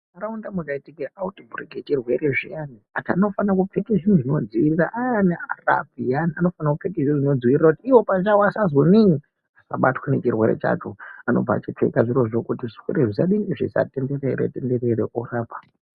Muntaraunda mukaitika autibhureki yechirwere zviyani antu anofane kupfeka zvinhu zvinodzivirira kuti ivo pachavo asabatwe nechirwere chacho anobva achipfeka zvirozvo kuti zvirwere zvisatenderera tenderera orapwa.